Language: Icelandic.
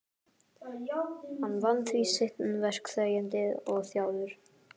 Hann vann því sitt verk þegjandi og þjáður.